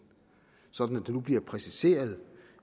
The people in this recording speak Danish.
sådan at det nu bliver præciseret